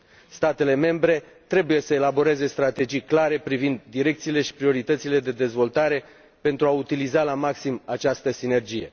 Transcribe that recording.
Statele membre trebuie să elaboreze strategii clare privind direcțiile și prioritățile de dezvoltare pentru a utiliza la maximum această sinergie.